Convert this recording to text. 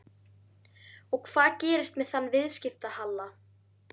Og hvað gerist með þann viðskiptahalla?